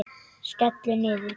Skellur niður.